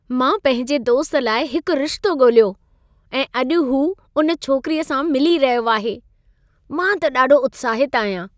मां पंहिंजे दोस्त लाइ हिक रिश्तो ॻोल्हियो ऐं अॼु हू उन छोकिरीअ सां मिली रहियो आहे। मां त ॾाढो उत्साहित आहियां।